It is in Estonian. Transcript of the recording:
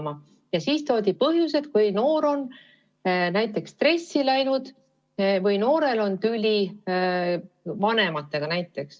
Toodi põhjuseks, et kui noor on näiteks stressi läinud või tal on vanematega tüli.